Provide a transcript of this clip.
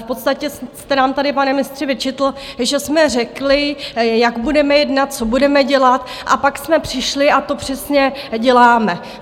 V podstatě jste nám tady, pane mistře, vyčetl, že jsme řekli, jak budeme jednat, co budeme dělat, a pak jsme přišli a to přesně děláme.